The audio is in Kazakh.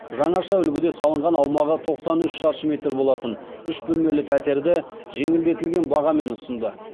жаңаша үлгіде салынған аумағы тоқсан үш шаршы метр болатын үш бөлмелі пәтерді жеңілдетілген бағамен ұсынды